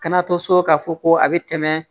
Kana to so k'a fɔ ko a bɛ tɛmɛ